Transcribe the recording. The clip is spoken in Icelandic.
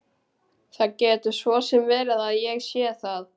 Það getur svo sem verið að ég sé það.